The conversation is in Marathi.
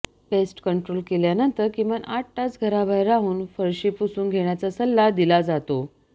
पेस्ट कंट्रोल केल्यानंतर किमान आठ तास घराबाहेर राहून फरशी पुसून घेण्याचा सल्ला दिला जातो